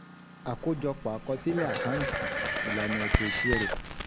Àkójọpọ́ akosile Àkáǹtì, Ìlànà eto ìṣirò.